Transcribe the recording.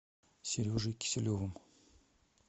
сережей киселевым